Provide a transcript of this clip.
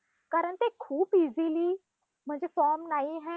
कारण ते खूप easily म्हणजे form नाहीये